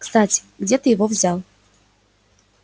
кстати где ты его взял